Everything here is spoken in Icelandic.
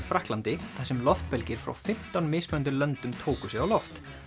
Frakklandi þar sem loftbelgir frá fimmtán mismunandi löndum tóku sig á loft